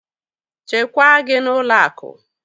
Chekwaa gị n'ụlọ akụ!